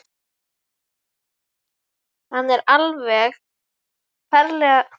Hann er alveg ferlega fljótur á hækjunum.